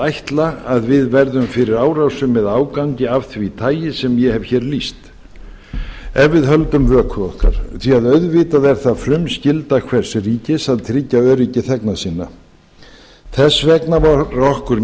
ætla að við verðum fyrir árásum eða ágangi af því tagi sem ég hef hér lýst ef við höldum vöku okkar því að auðvitað er það frumskylda hvers ríkis að tryggja öryggi þegna sinna þess vegna var okkur